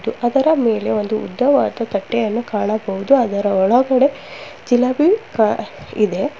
ಅದರ ಮೇಲೆ ಒಂದು ಉದ್ದವಾದ ತಟ್ಟೆಯನ್ನು ಕಾಣಬಹುದು ಅದರ ಒಳಗಡೆ ಜಿಲೇಬಿ ಕಾ ಇದೆ.